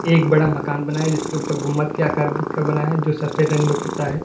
एक बड़ा मकान बना है जिसके ऊपर गुम्मद के आकार का बना है जो सफेद रंग में पुता है।